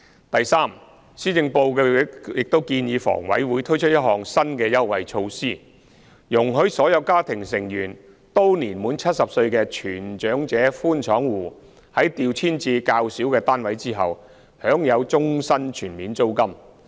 第三，施政報告亦建議房委會推出一項新的優惠措施，容許所有家庭成員均年滿70歲的全長者寬敞戶在調遷至較小的單位後，享有終身全免租金。